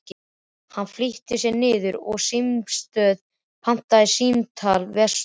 Hann flýtti sér niður á símstöð og pantaði símtal vestur.